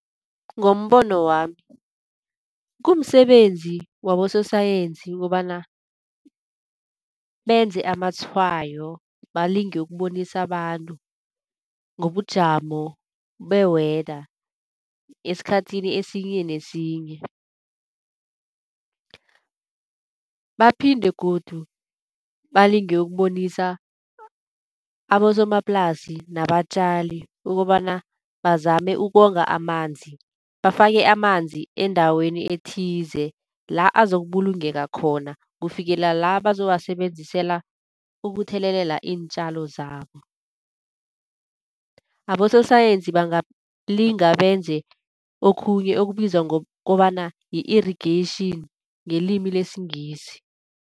Ngombono wami kumsebenzi wabososayensi kobana benze amatshwayo, balinge ukubonisa abantu ngobujamo be-weather, esikhathini esinye nesinye. Baphinde godu balinge ukubonisa abosomaplasi nabatjali ukobana bazame ukonga amanzi. Bafake amanzi endaweni ethize, la azokubulungeka khona kufikela la bazowasebenzisela ukuthelelela iintjalo zabo. Abososayensi bangalinga benze okhunye okubizwa ngokobana yi-irrigaration ngelimi lesiNgisi.